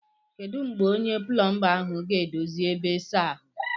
Kedu mgbe onye plomba ahụ ga-edozi ebe ịsa ahụ?